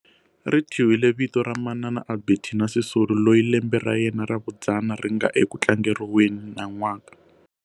Ri thyiwile vito ra Mama Albertina Sisulu loyi lembe ra yena ra vudzana ri nga eku tlangeriweni nan'waka.